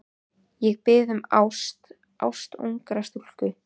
Ég bið um ást, ást ungrar stúlku.